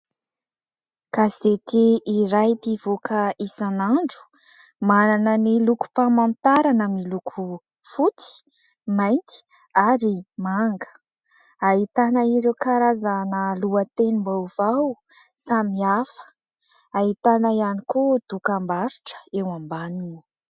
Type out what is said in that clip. Gazety iray mpivoaka isan'andro, manana ny lokom-pamantarana miloko fotsy, mainty ary manga. Ahitana ireo karazana lohatenim-baovao samihafa, ahitana ihany koa dokam-barotra eo ambaniny.